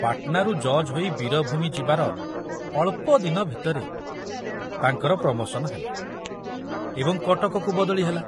ପାଟନାରୁ ଜଜ୍ ହୋଇ ବୀରଭୂମି ଯିବାର ଅଳ୍ପଦିନ ଭିତରେ ତାଙ୍କର ପ୍ରମୋଶନ ହେଲା ଏବଂ କଟକକୁ ବଦଳି ହେଲା।